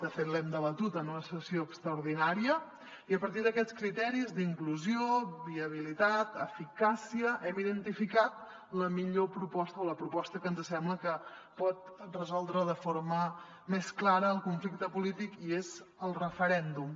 de fet l’hem debatut en una sessió extraordinària i a partir d’aquests criteris d’inclusió viabilitat eficàcia hem identificat la millor proposta o la proposta que ens sembla que pot resoldre de forma més clara el conflicte polític i és el referèndum